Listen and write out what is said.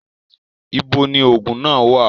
Ibo ni òògùn náà wà?